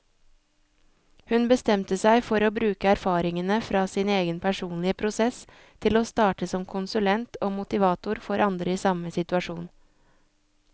Hun bestemte seg for å bruke erfaringene fra sin egen personlige prosess til å starte som konsulent og motivator for andre i samme situasjon.